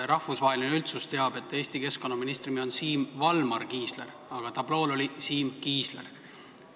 Rahvusvaheline üldsus teab, et Eesti keskkonnaministri nimi on Siim Valmar Kiisler, aga tablool oli kirjas Siim Kiisler.